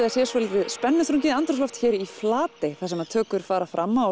það sé svolítið spennuþrungið andrúmsloft hér í Flatey þar sem tökur fara fram á